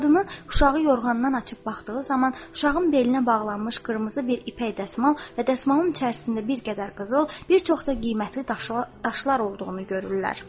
Qadını uşağı yorğandan açıb baxdığı zaman uşağın belinə bağlanmış qırmızı bir ipək dəsmal və dəsmalın içərisində bir qədər qızıl, bir çox da qiymətli daşlar olduğunu görürlər.